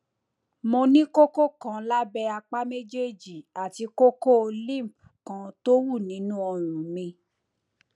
mo ní kókó kan lábẹ apá méjèèjì àti kókó lymph kan tó wú nínú ọrùn mi